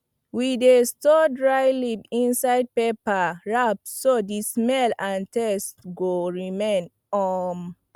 we dey store dry leaf inside paper wrap so the smell and taste go remain um